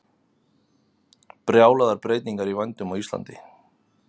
Brjálaðar breytingar í vændum á Íslandi